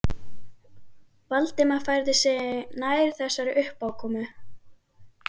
Valdimar færði sig nær þessari uppákomu.